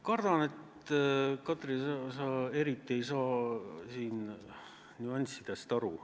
Kardan, Katri, et sa eriti ei saa siin nüanssidest aru.